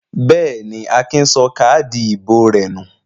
Bẹ́ẹ̀ ni, Akin sọ káádì ìbò rẹ̀ nù.